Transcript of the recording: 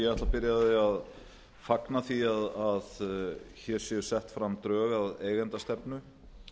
því að fagna því að hér séu sett fram drög að eigendastefnu